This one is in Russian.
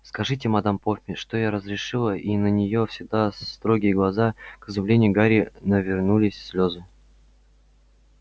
скажите мадам помфри что я разрешила и на её всегда строгие глаза к изумлению гарри навернулись слезы